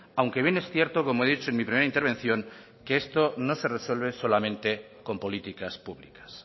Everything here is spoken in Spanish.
aunque bien es cierto como he dicho en mi primera intervención que esto no se resuelve solamente con políticas públicas